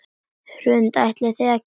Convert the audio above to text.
Hrund: Ætlið þið að keppa?